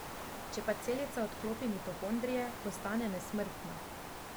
Če pa celica odklopi mitohondrije, postane nesmrtna.